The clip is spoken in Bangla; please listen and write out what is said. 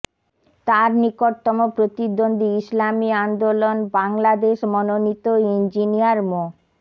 তার নিকটতম প্রতিদ্বন্দ্বী ইসলামী আন্দোলন বাংলাদেশ মনোনীত ইঞ্জিনিয়ার মো